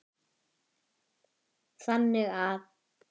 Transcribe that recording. þannig að